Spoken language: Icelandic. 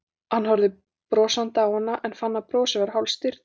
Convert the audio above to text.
Hann horfði brosandi á hana en fann að brosið var hálfstirðnað.